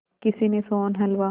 किसी ने सोहन हलवा